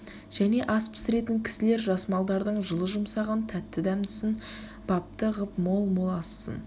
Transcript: және ас пісіретін кісілер жас малдардың жылы-жүмсағын тәтті-дәмдісін бапты ғып мол-мол ассын